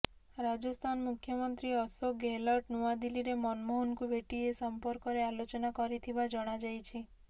ରାଜସ୍ଥାନ ମୁଖ୍ୟମନ୍ତ୍ରୀ ଅଶୋକ ଗେହଲଟ ନୂଆଦିଲ୍ଲୀରେ ମନମୋହନଙ୍କୁ ଭେଟି ଏ ସମ୍ପର୍କରେ ଆଲୋଚନା କରିଥିବା ଜଣାଯାଇଛି